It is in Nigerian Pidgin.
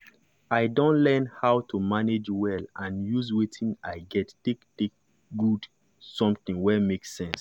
i don learn how to manage well and use wetin i get take get take do something wey make sense.